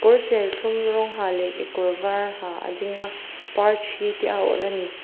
kawr serthlum rawng ha leh kekawr var ha a ding a parthi te a awrh ani.